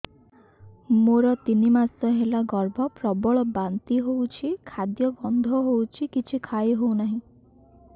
ମୋର ତିନି ମାସ ହେଲା ଗର୍ଭ ପ୍ରବଳ ବାନ୍ତି ହଉଚି ଖାଦ୍ୟ ଗନ୍ଧ ହଉଚି କିଛି ଖାଇ ହଉନାହିଁ